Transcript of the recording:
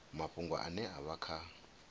mafhungo ane a vha kha